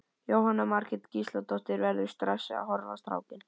Jóhanna Margrét Gísladóttir: Verðurðu stressaður að horfa á strákinn?